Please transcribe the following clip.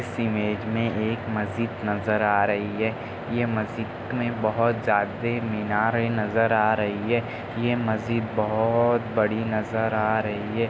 इस इमेज में एक मस्जिद नजर आ रही हैं। यह मस्जिद में बहुत जादे मीनारे नजर आ रही हैं। यह मस्जिद बहुत बड़ी नजर आ रही हैं।